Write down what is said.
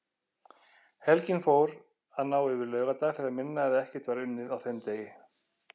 Helgin fór að ná yfir laugardag þegar minna eða ekkert var unnið á þeim degi.